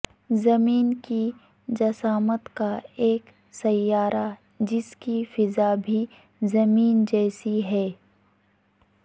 زمین کی جسامت کا ایک سیارہ جس کی فضا بھی زمین جیسی ہے